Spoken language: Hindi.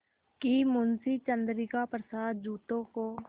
कि मुंशी चंद्रिका प्रसाद जूतों को